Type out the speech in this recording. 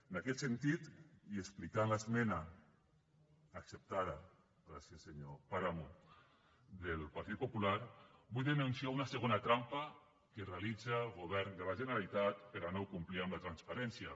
en aquest sentit i explicant l’esmena acceptada gràcies senyor de páramo del partit popular vull denunciar una segona trampa que realitza el govern de la generalitat per a no complir amb la transparència